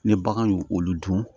Ni bagan y'u olu dun